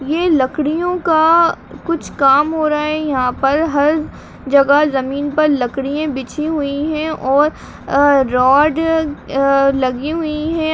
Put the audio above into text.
ये लकड़ियों का कुछ काम हो रहा है यहाँ पर हर जगह जमीन पर लकड़ियाँ बिछी हुई हैं और अ रॉड अ लगी हुई है ।